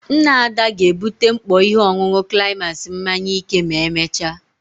Nna Ada ga-ebute mkpọ ihe ọṅụṅụ climax mmanya ike ma emechaa.